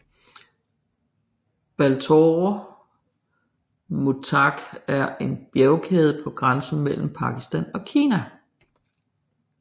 Baltoro Muztagh en en bjergkæde på grænsen mellem Pakistan og Kina